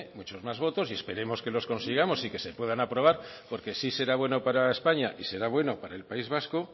muchos más votos y esperemos que los consigamos y que se puedan aprobar porque sí será bueno para españa y será bueno para el país vasco